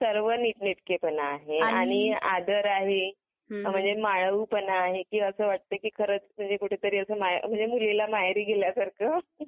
सर्व नीटनेटकेपणा आहे आणि आदर आहे हा म्हणजे मायाळू पण आहे एकी खरच म्हणजे कुठेतरी असं मुलीला माहेरी गेल्यासारखं.